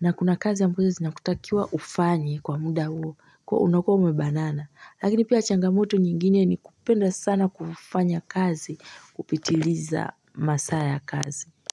na kuna kazi ambayo zinakutakiwa ufanye kwa muda huo unakuwa ume banana lakini pia changamoto nyingine ni kupenda sana kufanya kazi kupitiliza masaa ya kazi.